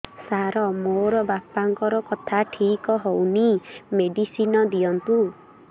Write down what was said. ସାର ମୋର ବାପାଙ୍କର କଥା ଠିକ ହଉନି ମେଡିସିନ ଦିଅନ୍ତୁ